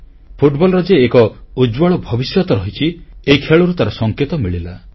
ଫୁଟବଲର ଯେ ଏକ ଉଜ୍ଜ୍ୱଳ ଭବିଷ୍ୟତ ରହିଛି ଏହି ଖେଳରୁ ତାର ସଙ୍କେତ ମିଳିଲା